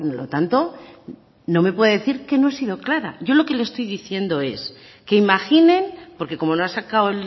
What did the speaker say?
lo tanto no me puede decir que no he sido clara yo lo que le estoy diciendo es que imaginen porque como no ha sacado